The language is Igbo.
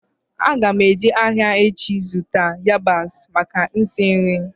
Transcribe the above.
Aga m eje ahịa echi zụta yabasị maka isi nri